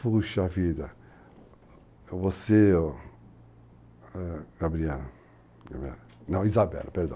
Puxa vida, você, Gabriela... Não, Isabela, perdão.